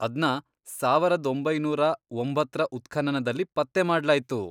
ಅದ್ನ ಸಾವರದ್ ಒಂಬೈನೂರ ಒಂಬತ್ತ್ರ ಉತ್ಖನನದಲ್ಲಿ ಪತ್ತೆ ಮಾಡ್ಲಾಯ್ತು.